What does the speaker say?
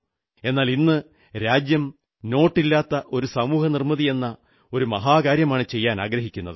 എന്നാൽ ഇന്ന് രാജ്യം നോട്ടില്ലാത്ത ഒരു സമൂഹനിർമ്മിതിയെന്ന ഒരു മഹാകാര്യമാണു ചെയ്യാനാഗ്രഹിക്കുന്നത്